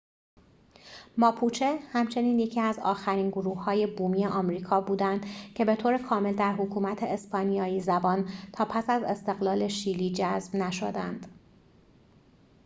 ماپوچه همچنین یکی از آخرین گروه‌های بومی آمریکا بودند که بطور کامل در حکومت اسپانیایی‌زبان تا پس از استقلال شیلی جذب نشدند